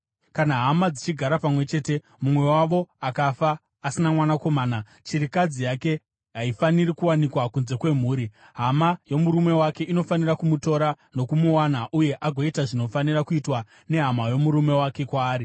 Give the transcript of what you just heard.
Kana hama dzichigara pamwe chete mumwe wavo akafa asina mwanakomana, chirikadzi yake haifaniri kuwanikwa kunze kwemhuri. Hama yomurume wake inofanira kumutora nokumuwana uye agoita zvinofanira kuitwa nehama yomurume wake kwaari.